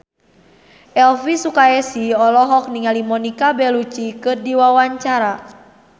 Elvy Sukaesih olohok ningali Monica Belluci keur diwawancara